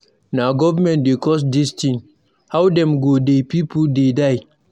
Na government wey cause dis thing, how dem go dey people dey die.